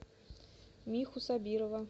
миху сабирова